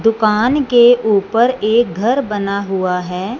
दुकान के ऊपर एक घर बना हुआ है।